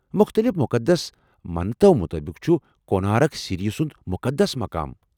مختٔلف مقدس متننو مطٲبق چُھ کونارک سِریہ سُنٛد مُقدس مقام ۔